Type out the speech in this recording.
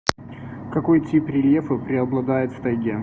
какой тип рельефа преобладает в тайге